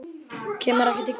Kemur ekki til greina